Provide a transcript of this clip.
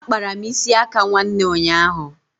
Akpara m isi aka nwanne ụnyaahụ